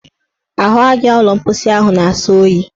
Ahụaja ụlọ mposi ahụ na-asọ oyi.